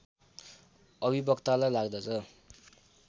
अभिवक्तालाई लाग्दछ